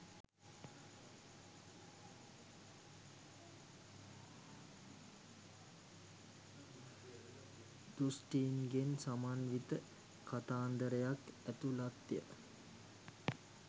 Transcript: දෘෂ්ටීන්ගෙන් සමන්විත කතාන්දරක් ඇතුලත්ය.